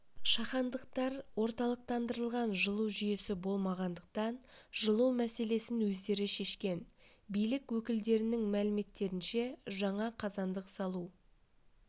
шахандықтар орталықтандырылған жылу жүйесі болмағандықтан жылу мәселесін өздері шешкен билік өкілдерінің мәліметтерінше жаңа қазандық салу